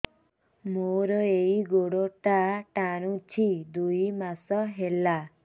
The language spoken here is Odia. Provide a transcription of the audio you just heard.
ମୋର ଏଇ ଗୋଡ଼ଟା ଟାଣୁଛି ଦୁଇ ମାସ ହେଲା